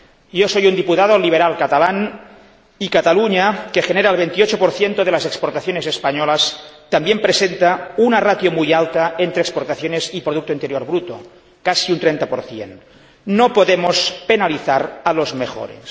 Yo soy un diputado liberal catalán, y Cataluña que genera el 28 de las exportaciones españolas también presenta una ratio muy alta entre exportaciones y producto interior bruto, casi un 30 No podemos penalizar a los mejores.